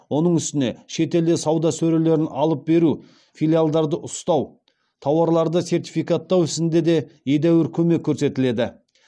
оның үстіне шетелде сауда сөрелерін алып беру филиалдарды ұстау тауарларды сертификаттау ісінде де едәуір көмек көрсетіледі